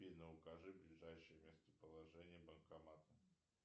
афина укажи ближайшее местоположение банкомата